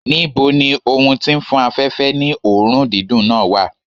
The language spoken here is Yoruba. Níbo ni ohun tí ń fún afẹ̀fẹ́ ní òórùn dídùn náà wà?